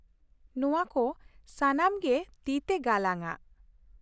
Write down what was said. ᱱᱚᱶᱟ ᱠᱚ ᱥᱟᱱᱟᱢ ᱜᱮ ᱛᱤᱛᱮ ᱜᱟᱞᱟᱝ ᱟᱜ ᱾